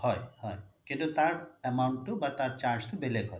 হয় হয় কিন্তু তাৰ amount টো বা তাৰ charge টো বেলেগ হয়